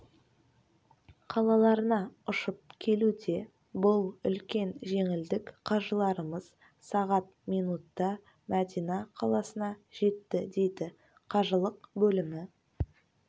қалаларына ұшып келуде бұл үлкен жеңілдік қажыларымыз сағат минутта мәдина қаласына жетті дейді қажылық бөлімі